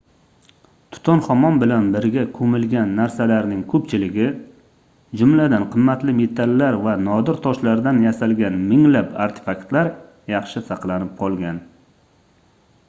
tutanxamon bilan birga koʻmilgan narsalarning koʻpchiligi jumladan qimmatli metallar va nodir toshlardan yasalgan minglab artefaktlar yaxshi saqlanib qolgan